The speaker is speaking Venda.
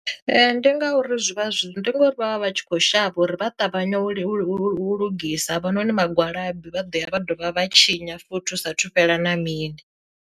Ndi ngauri zwi vha zwi ndi ngori vhavha vhatshi kho shavha uri vha ṱavhanye u u u lugisa havhanoni vhagwalabi vha ḓo ya vha dovha vha tshinya futhi hu sa thu fhela na mini.